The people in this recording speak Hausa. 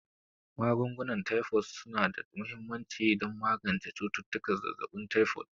Magungunan Taifod su na da mahimmanci don magance cututtukan zazzabin taifod.